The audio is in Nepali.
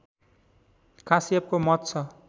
काश्यपको मत छ